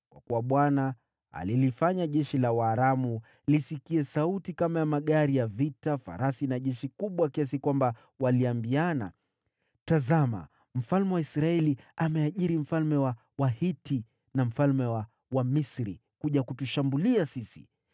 kwa kuwa Bwana alilifanya jeshi la Waaramu lisikie sauti kama ya magari ya vita, farasi na jeshi kubwa, kiasi kwamba waliambiana, “Tazama, mfalme wa Israeli ameajiri mfalme wa Wahiti na mfalme wa Wamisri kuja kutushambulia sisi!”